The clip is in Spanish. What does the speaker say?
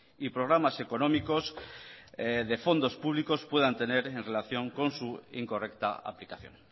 y programas económicos de fondos públicos puedan tener en relación con su incorrecta aplicación